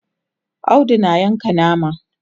Audu na Yanka nama